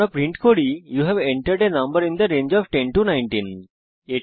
আমরা প্রিন্ট করি you have entered a number in the range of 10 19